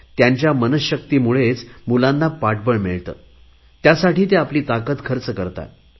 त्यांच्या मनशक्तीमुळेच मुलांना पाठबळ मिळते त्यासाठी ते आपली ताकद खर्च करतात